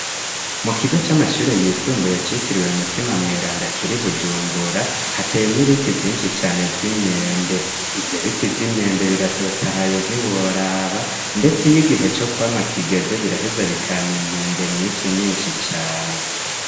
Mu kigo c'amashure yisumbuye citiriwe u mutima mwerandakiri bujumbura hatemwe ibiti vyinshi cane vy'imyembe ivyo biti vyo imyembe biratotahaye ntiworaba, ndetse iy'igihe co kwama kigeze biraheza bikama imyembe myinshi myinshi cane.